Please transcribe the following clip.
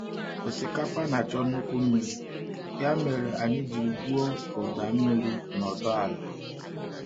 Osikapa na achọ nnukwu mmiri ya mere anyị jiri gwuo ụda mmiri na ọdọ ala.